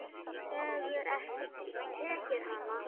Þú hefur ekki tekið hana?